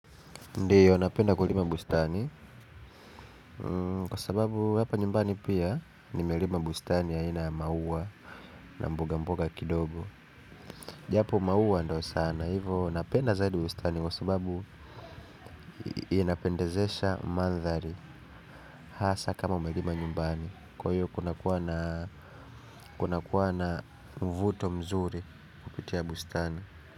Ndiyo napenda kulima bustani. Kwa sababu hapa nyumbani pia nimelima bustani aina ya maua. Na mboga mboga kidogo. Japo maua ndo sana hivo napenda zaidi bustani kwa sababu inapendezesha mandhari. Hasa kama umelima nyumbani. Kwa hiyo kunakuwa na vuto mzuri kupitia bustani.